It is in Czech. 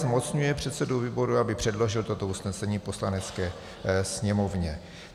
Zmocňuje předsedu výboru, aby předložil toto usnesení Poslanecké sněmovně.